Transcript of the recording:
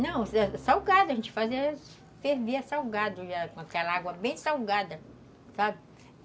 Não, salgava, a gente fazia, fervia salgado, aquela água bem salgada, sabe?